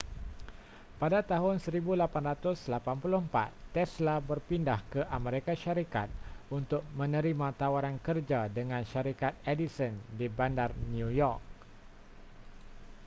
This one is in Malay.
pada tahun 1884 tesla berpindah ke amerika syarikat untuk menerima tawaran kerja dengan syarikat edison di bandar new york